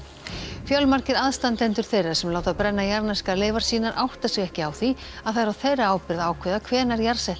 fjölmargir aðstendendur þeirra sem láta brenna jarðneskar leifar sínar átta sig ekki á því að það er á þeirra ábyrgð að ákveða hvenær